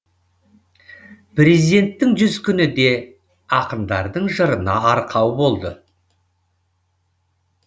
президенттің жүз күні де ақындардың жырына арқау болды